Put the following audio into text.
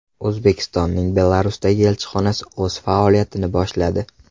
O‘zbekistonning Belarusdagi elchixonasi o‘z faoliyatini boshladi.